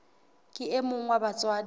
ke e mong wa batswadi